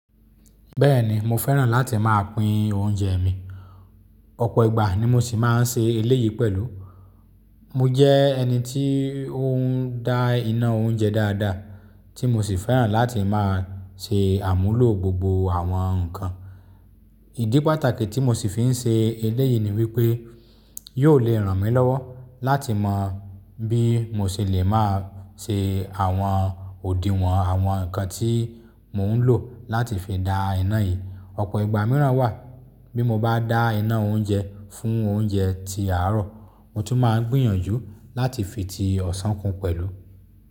Bẹ́ẹ̀ni, mo fẹ́ràn láti máa pín oúnjẹ mi. Ọ̀pọ̀ ìgbà ni mo sì máa ń ṣe eléyìí pẹ̀lú. Mo jẹ́ ẹni tí ó ń dá iná oúnjẹ dáadáa, tí mo sì fẹ́ràn láti máa ṣe àmúlò gbogbo àwọn ǹkan. Ìdí pàtàkì tí mo sì fi ń ṣe eléyìí ni wípé, Yóò lè ràn mí lọ́wọ́ láti mọ̀. Bí mo ṣe le máa ṣe àwọn òdiwọ̀n àwọn ǹkan tí mò ń lò láti fi dá iná yìí. Ọ̀pọ̀ ìgbà míràn wà, bí mo bá dá iná oúnjẹ fún oúnjẹ ti àárọ̀, mo tún máa ń gbìyànjú láti fi ti ọ̀sán kún pẹ̀lú.